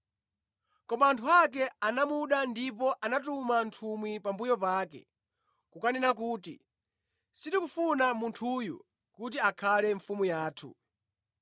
“Koma anthu ake anamuda ndipo anatuma nthumwi pambuyo pake kukanena kuti, ‘Sitikufuna munthuyu kuti akhale mfumu yathu.’